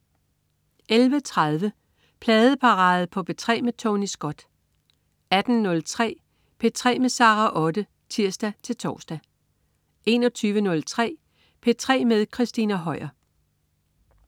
11.30 Pladeparade på P3 med Tony Scott 18.03 P3 med Sara Otte (tirs-tors) 21.03 P3 med Christina Høier